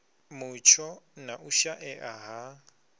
mutsho na u shaea ha